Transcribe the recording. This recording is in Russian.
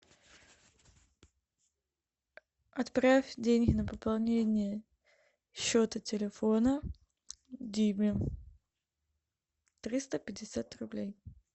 отправь деньги на пополнение счета телефона диме триста пятьдесят рублей